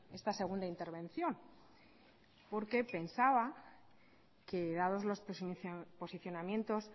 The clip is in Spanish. esta segunda intervención porque pensaba que dados los posicionamientos